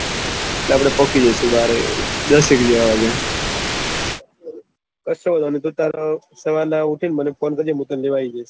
કસો વાંધો નહી ભાઈ તારે સવારે ઉઠી ને મને ફોન કરજે મિત્ર હું તને લેવા આયી દયીસ